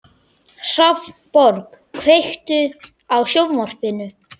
Hrafnborg, kveiktu á sjónvarpinu.